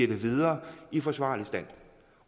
videre i forsvarlig stand